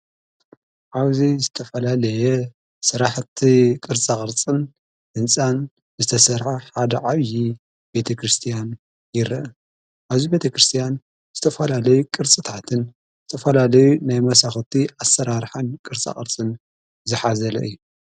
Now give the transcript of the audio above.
ዓውዙ ዝተፈላለየ ሠራሕቲ ቕርጻቕርጽን እንጻን ዝተሠዐ ሓደዓይዪ ቤተ ክርስቲያን ይርአ ኣዙይ ቤተ ክርስቲያን ዝተፍላለይ ቅርጽታትን ዝተፈላለዩ ናይ መሳኹቲ ኣሠራርኃን ቅርጻቐርጽን ዝኃዘለ እዩ።